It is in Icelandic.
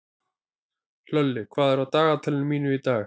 Hlölli, hvað er á dagatalinu mínu í dag?